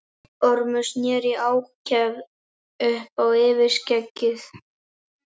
Ormur sneri í ákefð upp á yfirskeggið.